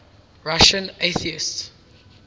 russian atheists